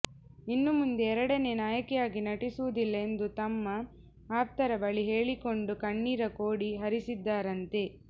ಇನ್ನು ಮುಂದೆ ಎರಡನೇ ನಾಯಕಿಯಾಗಿ ನಟಿಸುವುದಿಲ್ಲ ಎಂದು ತಮ್ಮ ಆಪ್ತರ ಬಳಿ ಹೇಳಿಕೊಂಡು ಕಣ್ಣೀರ ಕೋಡಿ ಹರಿಸಿದ್ದಾರಂತೆ